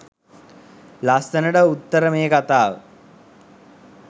ලස්සනට උත්තර මේ කතාව